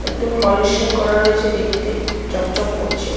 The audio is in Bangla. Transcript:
একদম পলিশিং করা রয়েছে দেখতে চকচক করছে ।